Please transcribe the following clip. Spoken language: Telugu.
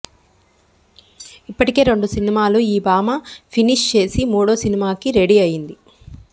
ఇప్పటికే రెండు సినిమాలు ఈ భామ ఫినిష్ చేసి మూడో సినిమాకి రెడీ అయ్యింది